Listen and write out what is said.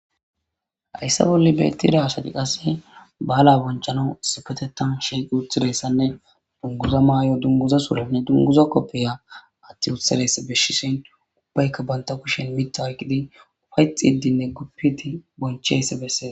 hayssa bolle beettida hasati qasse ba7ala bonchana sipetetan sheeqi uthidayssanne dunguza maay7o dunguza surenne dunguza koppiya atti utheles beshshi sentu ubbaykka banta kushen mitta ayqqidi ufayx iddinne guppiti boncheysse besseea